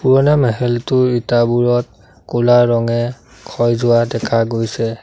পুৰণা ইটাবোৰত ক'লা ৰঙে ক্ষয় যোৱা দেখা গৈছে।